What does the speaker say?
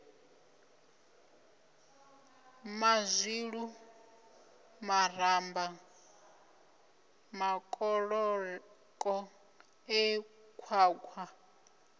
mazwilu maramba makoloko e khwakhwa